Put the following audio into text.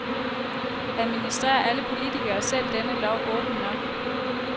Administrerer alle politikere selv denne lov åbent nok?